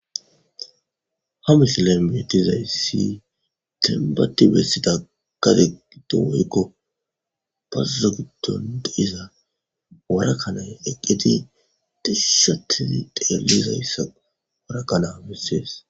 Ha misilla meetizaysi tenbati bessida kategido woykko bazozogidon deiza warakanay eqqeti tisushotizi deellizayssa warakana bessees.